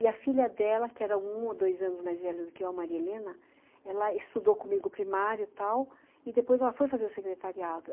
E a filha dela, que era um ou dois anos mais velha do que eu, a Maria Helena, ela estudou comigo primário e tal, e depois ela foi fazer o secretariado.